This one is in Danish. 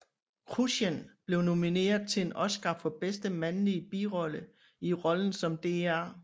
Kruschen blev nomineret til en Oscar for bedste mandlige birolle i rollen som Dr